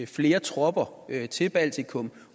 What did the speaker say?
flere tropper til baltikum